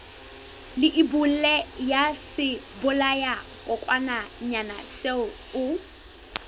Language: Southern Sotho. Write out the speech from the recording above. leibole ya sebolayakokwanyana seo o